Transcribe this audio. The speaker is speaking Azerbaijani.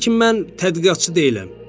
Lakin mən tədqiqatçı deyiləm.